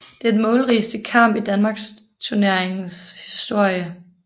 Det er den målrigeste kamp i Danmarksturneringens historie